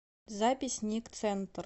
запись ник центр